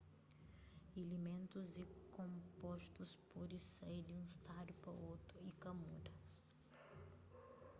ilimentus y konpostus pode sai di un stadu pa otu y ka muda